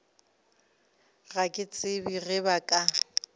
ga ke tsebe ge ba